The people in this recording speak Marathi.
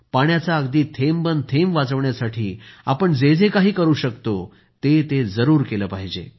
पाण्याचा अगदी थेंब न थेंब वाचविण्यासाठी आपण जे जे काही करू शकतो ते ते जरूर केले पाहिजे